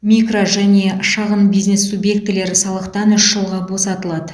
микро және шағын бизнес субъектілері салықтан үш жылға босатылады